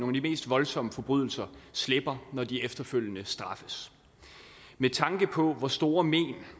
mest voldsomme forbrydelse slipper når de efterfølgende straffes med tanke på hvor store men